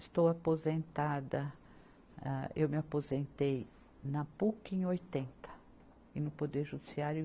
Estou aposentada, ah, eu me aposentei na Puc em oitenta e no Poder Judiciário em